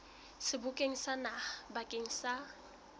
sebokeng sa naha bakeng sa